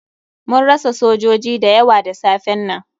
Mun rasa sojoji da yawa da safen nan.